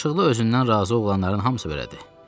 Yaraşıqlı, özündən razı oğlanların hamısı belədir.